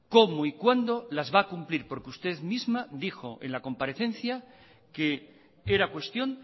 cómo y cuándo las va a cumplir porque usted misma dijo en la comparecencia que era cuestión